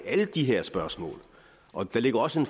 alle de her spørgsmål og der ligger også